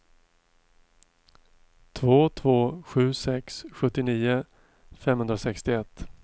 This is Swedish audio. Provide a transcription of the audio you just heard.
två två sju sex sjuttionio femhundrasextioett